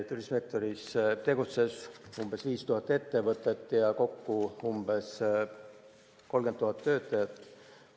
Turismisektoris tegutses umbes 5000 ettevõtet ja umbes 30 000 töötajat.